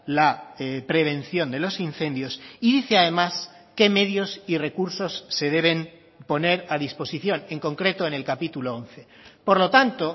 la prevención de los incendios y dice además qué medios y recursos se deben poner a disposición en concreto en el capítulo once por lo tanto